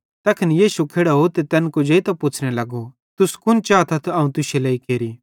तैखन यीशु खेड़ोव ते तैन कुजेइतां पुच्छ़ने लगो तुस कुन चातस अवं तुश्शे लेइ केरि